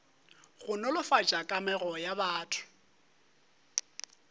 go nolofatša kamego ya batho